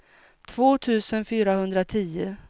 två tusen fyrahundratio